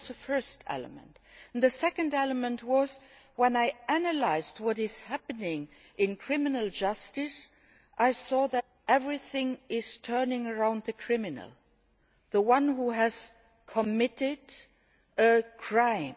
That was the first element. The second element was when I analysed what is happening in criminal justice, I saw that everything revolves around the criminal, the one who has committed a crime